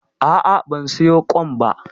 A'a, ban siyo ƙwan ba.